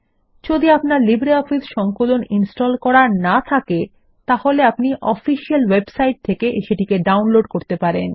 যদি আপনার লিব্রিঅফিস সংকলন ইনস্টল করা না থাকে তাহলে আপনি অফিসিয়াল ওয়েবসাইট থেকে সেটিকে ডাউনলোড করতে পারেন